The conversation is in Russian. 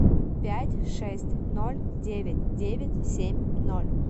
пять шесть ноль девять девять семь ноль